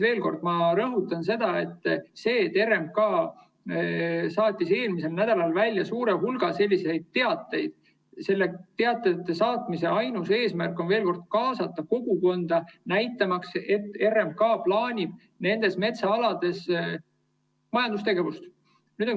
Veel kord rõhutan: kui RMK saatis eelmisel nädalal välja suure hulga selliseid teateid, siis nende saatmise ainus eesmärk oli veel kord kaasata kogukonda, näitamaks, et RMK plaanib nendel metsaaladel majandustegevust.